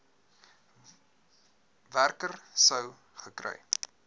werker sou gekry